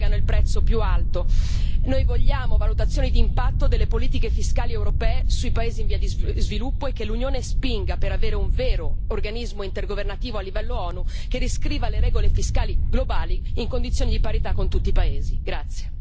I paesi in via di sviluppo pagano il prezzo più alto noi vogliamo valutazioni di impatto delle politiche fiscali europee sui paesi in via di sviluppo e che l'Unione spinga per avere un vero organismo intergovernativo a livello ONU che riscriva le regole fiscali globali in condizioni di parità con tutti i paesi.